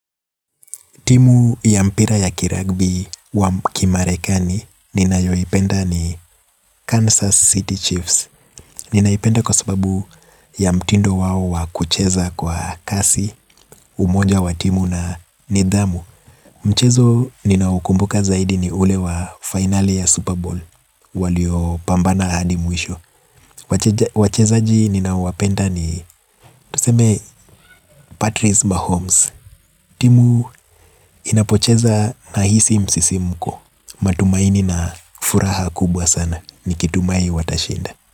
Timu ya mpira ya kiragbi wa kimarekani nina yoipenda ni Kansas City Chiefs. Ninaipenda kwa sababu ya mtindo wao wakucheza kwa kasi umoja wa timu na nidhamu. Mchezo ninao ukumbuka zaidi ni ule wa finali ya Super Bowl. Walio pambana hadi mwisho. Wachezaji ninao wapenda ni tuseme Patrice Mahomes. Timu inapocheza nahisi msisimko. Matumaini na furaha kubwa sana nikitumai watashinda.